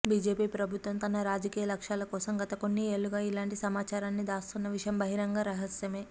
BGP ప్రభుత్వం తన రాజకీయ లక్ష్యాల కోసం గత కొన్ని ఏళ్లుగా ఇలాంటి సమాచారాన్ని దాస్తున్న విషయం బహిరంగ రహస్యమే